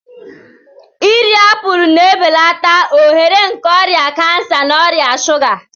Iri apụl na-ebelata ohere nke ọrịa kansa na ọrịa shuga.